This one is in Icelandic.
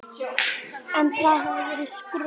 En það hefði verið skrök.